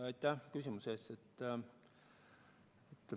Aitäh küsimuse eest!